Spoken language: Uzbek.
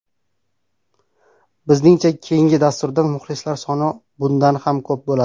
Bizningcha keyindi dasturda muxlislar soni bundan ham ko‘p bo‘ladi.